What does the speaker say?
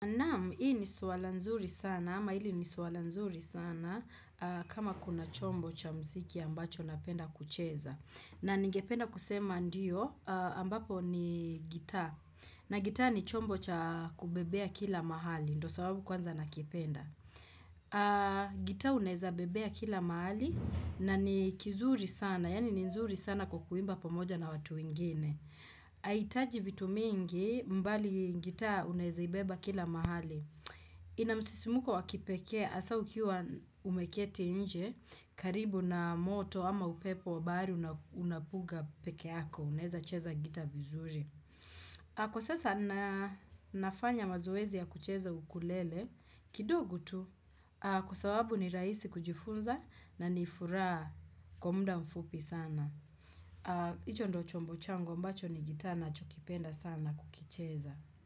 Naam, hii ni suwala nzuri sana, ama hili ni suwala nzuri sana kama kuna chombo cha mziki ambacho napenda kucheza. Na ningependa kusema ndiyo, ambapo ni gitaa. Na gitaa ni chombo cha kubebea kila mahali, ndo sababu kwanza nakipenda. Gitaa uneza bebea kila mahali na ni kizuri sana, yani ni nzuri sana kwa kuimba pamoja na watu ingine. Haitaji vitu mingi mbali ngitaa unezaibeba kila mahali ina msisimko wakipekee hasa ukiwa umeketi nje karibu na moto ama upepo wa bahari unapuga peke yako unaeza cheza gita vizuri Kwa sasa na nafanya mazoezi ya kucheza ukulele kidogu tu Kwasawabu ni rahisi kujifunza na ni furaha kwa muda mfupi sana hicho ndo chombo changu ambacho ni gitaa nachokipenda sana kukicheza.